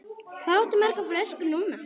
Hvað áttu margar flöskur núna?